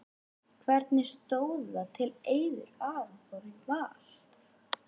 Hvernig stóð það til að Eiður Aron fór í Val?